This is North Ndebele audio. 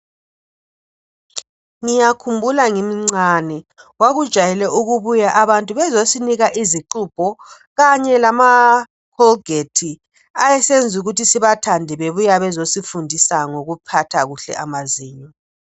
Ngiyakhumbula ngimncane kwakujwayele ukubuya abantu bezosinika izixubho kanye lama Colgate ayesenza ukuthi sibathande bebuya bezosifundisa ngokuphatha kuhle amazinyo.